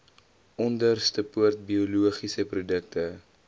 onderstepoort biologiese produkte